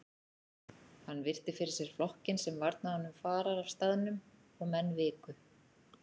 Hann virti fyrir sér flokkinn sem varnaði honum farar af staðnum og menn viku.